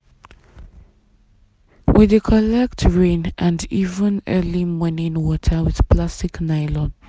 we dey collect rain and even early morning water with plastic nylon.